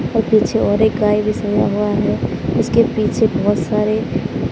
और पीछे ओर एक गाय भी सजा हुआ है उसके पीछे बहुत सारे--